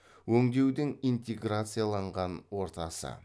өңдеудің интеграцияланған ортасы